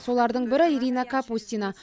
солардың бірі ирина капустина